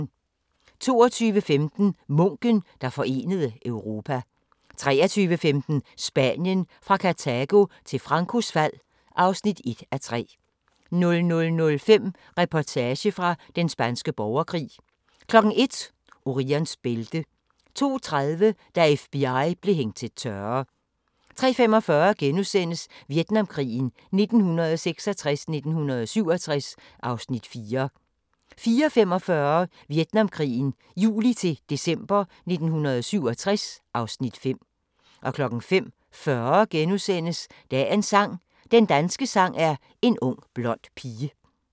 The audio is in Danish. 22:15: Munken, der forenede Europa 23:15: Spanien – fra Kartago til Francos fald (1:3) 00:05: Reportage fra Den Spanske Borgerkrig 01:00: Orions bælte 02:30: Da FBI blev hængt til tørre 03:45: Vietnamkrigen 1966-1967 (Afs. 4)* 04:45: Vietnamkrigen juli-december 1967 (Afs. 5) 05:40: Dagens sang: Den danske sang er en ung blond pige *